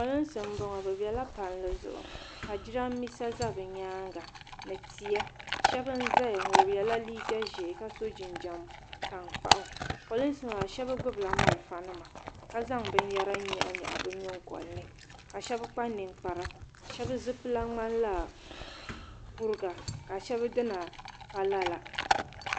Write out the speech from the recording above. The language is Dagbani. Pirinsi mbɔŋɔ bi bɛla palli zuɣu ka jiranbesa za bi yɛanga ni tia shɛba n zaya ŋɔ bi ye la liiga zɛɛ ka so jinjam taŋkpaɣu prinsi maa shɛba gbubi la malifa nima ka zaŋ bini yɛra nyaɣi nyaɣi bi yiŋgoli ni ka shɛba kpa ninkpara shɛba zipila mŋani la kuriga shɛba dina pa lala.